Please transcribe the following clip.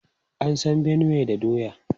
An san Benue da doya.